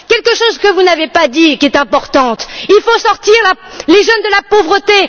Il y a quelque chose que vous n'avez pas dit et qui est important il faut sortir les jeunes de la pauvreté.